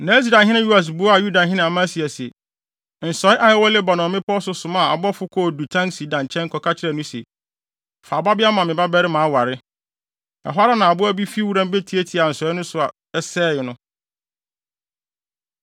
Na Israelhene Yoas buaa Yudahene Amasia se, “Nsɔe a ɛwɔ Lebanon mmepɔw so somaa abɔfo kɔɔ dutan sida nkyɛn kɔka kyerɛɛ no se, ‘Fa wo babea ma me babarima aware.’ Ɛhɔ ara na aboa bi fi wuram betiatiaa nsɔe no so sɛee no.